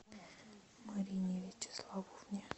марине вячеславовне